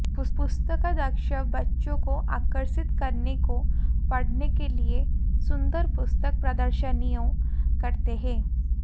पुस्तकाध्यक्ष बच्चों को आकर्षित करने को पढ़ने के लिए सुंदर पुस्तक प्रदर्शनियों करते हैं